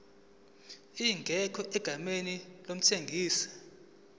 ingekho egameni lomthengisi